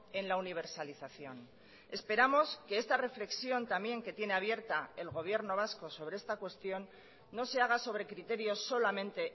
en la universalización esperamos que esta reflexión también que tiene abierta el gobierno vasco sobre esta cuestión no se haga sobre criterios solamente